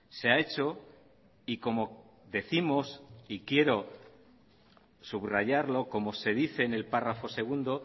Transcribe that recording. se ha hecho y como décimos y quiero subrayarlo como se dice en el párrafo segundo